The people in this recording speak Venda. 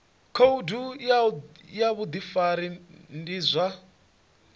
khoudu ya vhudifari ndi zwa